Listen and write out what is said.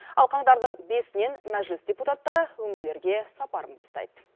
ал қаңтардың бесінен мәжіліс депутаттары өңірлерге сапарын бастайды